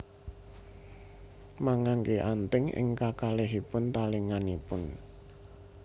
Mangangge anting ing kakalih talinganipun